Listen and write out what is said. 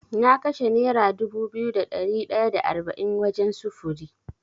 Na kashe Nera dubu biyu da ɗari da arba’in wajen sufuri.